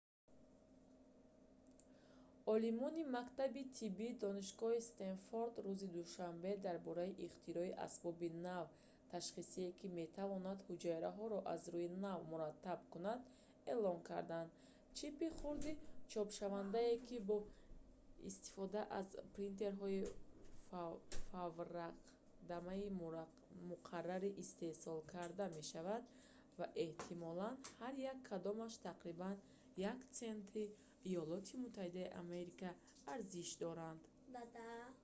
олимони мактаби тибби донишгоҳи стенфорд рӯзи душанбе дар бораи ихтирои асбоби нави ташхисие ки метавонад ҳуҷайраҳоро аз рӯи навъ мураттаб кунад эълон карданд чипи хурди чопшавандае ки бо истифода аз принтерҳои фавракдами муқаррарӣ истеҳсол карда мешавад ва эҳтимолан ҳар як кадомаш тақрибан 1 сенти има арзиш дорад